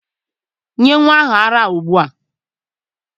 Nye nnwa ahụ ara ugbua!